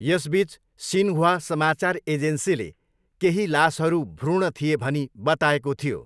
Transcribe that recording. यसबिच, Xinhua समाचार एजेन्सीले केही लासहरू भ्रूण थिए भनी बताएको थियो।